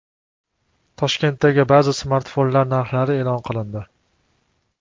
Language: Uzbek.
Toshkentdagi ba’zi smartfonlar narxlari e’lon qilindi.